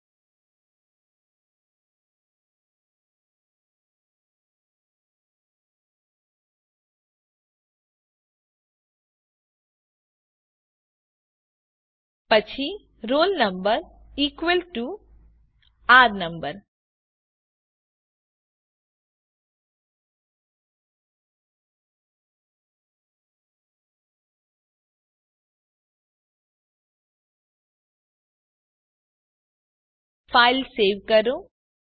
પછી roll number equal to R number file save કરો